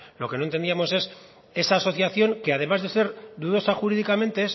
lo que no entendíamos es esa asociación que además de ser dudosa jurídicamente es